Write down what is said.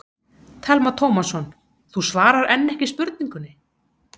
Telma Tómasson: Þú svarar enn ekki spurningunni?